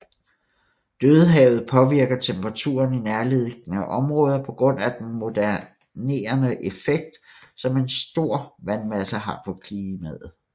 Dødehavet påvirker temperaturen i nærliggende områder på grund af den modererende effekt som en stor vandmasse har på klimaet